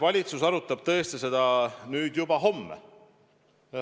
Valitsus arutab tõesti seda juba homme.